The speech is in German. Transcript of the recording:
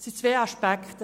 Es sind zwei Aspekte.